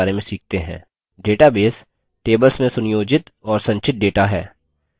database tables में सुनियोजित और संचित data है